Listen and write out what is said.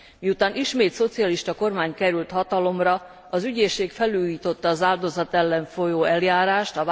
Miután ismét szocialista kormány került hatalomra, az ügyészség felújította az áldozat ellen folyó eljárást.